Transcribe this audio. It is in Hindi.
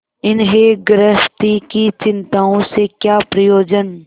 इन्हें गृहस्थी की चिंताओं से क्या प्रयोजन